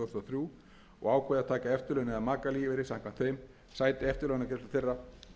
þrjú og ákveða að taka eftirlaun eða makalífeyri samkvæmt þeim sæti eftirlaunagreiðslur til þeirra